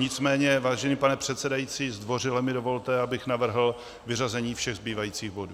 Nicméně, vážený pane předsedající, zdvořile mi dovolte, abych navrhl vyřazení všech zbývajících bodů.